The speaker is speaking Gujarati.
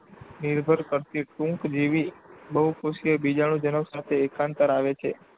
નિર્ભર કરતી ટૂંકજીવી, બહુકોષીય બીજાણુજનક સાથે એકાંતરે આવે છે.